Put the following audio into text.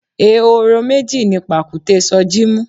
Ehoro meji ni pàkúté Soji mú.